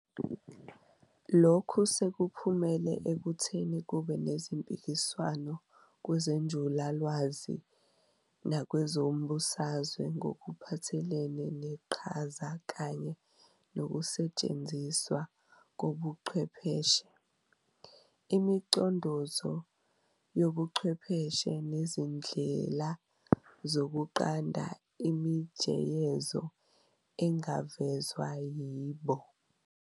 Lokhu sekuphumele ekutheni kube nezpikiswano kwezenjulalwazi nakwezombusazwe ngokuphathelene neqhaza kanye nokusetshenziswa kobuchwepheshe, imicondozo yobuchwepheshe nezindlela zokunqanda imijeyezo engavezwa yibo.